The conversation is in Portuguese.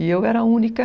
E eu era a única.